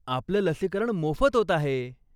आपलं लसीकरण मोफत होत आहे.